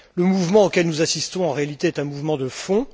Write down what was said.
Le mouvement auquel nous assistons est en réalité un mouvement de fond.